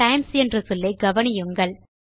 times என்ற சொல்லை கவனியுங்கள்